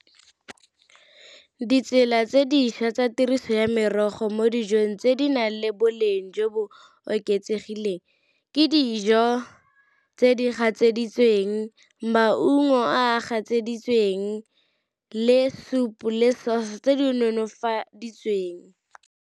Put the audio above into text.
Ditsela tse dišwa tsa tiriso ya merogo mo dijong tse di nang le boleng jo bo oketsegileng ke dijo tse di gatseditsweng, maungo a a gatseditsweng, le soup le sauce tse di nonofaditsweng.